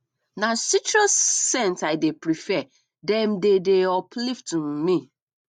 na citrus scents i dey prefer dem dey dey uplift um me